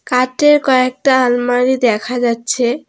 কাঠের কয়েকটা আলমারি দেখা যাচ্ছে।